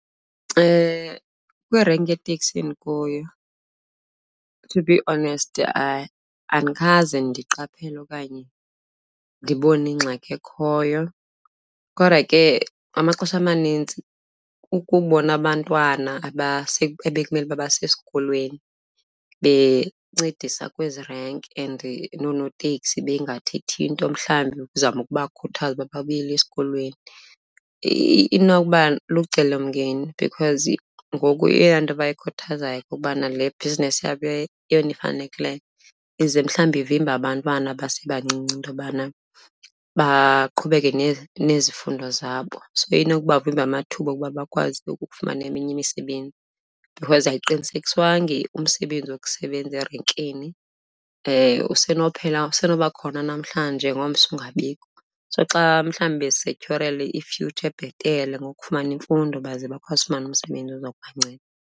Kwirenki yeeteksini endikuyo, to be honest andikaze ndiqaphele okanye ndibone ingxaki ekhoyo. Kodwa ke amaxesha amanintsi ukubona abantwana ekumele uba basesikolweni bencedisa kwezi renki and noonoteksi bengathethi nto mhlawumbi ukuzama ukubakhuthaza uba babuyile esikolweni, inokuba lucelomngeni because ngoku eyeyona nto bayikhuthaza kukubana le bhizinisi yabo yeyona ifanelekileyo, ize mhlawumbi ivimbe abantwana abasebancinci into yobana baqhubeke nezifundo zabo. So inokuba vimba amathuba okuba bakwazi ukufumana eminye imisebenzi because ayiqinisekiswanga umsebenzi wokusebenza erenkini, usenokuphela, usenokuba khona namhlanje ngomso ungabikho. So xa mhlawumbe bezisetyhorela i-future ebhetele ngokufumana imfundo baze bakwazi ufumana umsebenzi ozokubanceda.